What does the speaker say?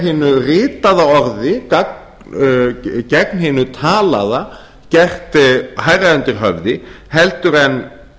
hinu ritaða orði gegn hinu talaða gert hærra undir höfði heldur en